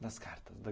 Nas cartas?